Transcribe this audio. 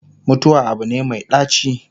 mutuwa Abu ne Mai ɗaci